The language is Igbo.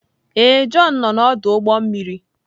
Ee, Jọn nọ na ọdụ ụgbọ mmiri.